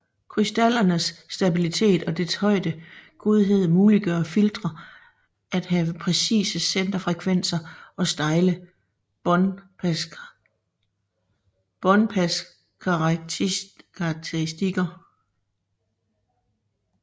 Krystallernes stabilitet og dets høje godhed muliggør filtre at have præcise centerfrekvenser og stejle båndpaskarakteristikker